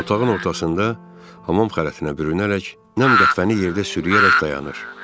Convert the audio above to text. Otağın ortasında hamam xələtinə bürünərək nəm qətvəni yerdə sürüyərək dayanır.